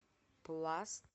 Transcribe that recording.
пласт